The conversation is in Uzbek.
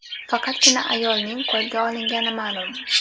Faqatgina ayolning qo‘lga olingani ma’lum.